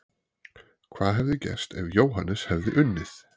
Hvað hefði gerst ef Jóhannes hefði unnið?!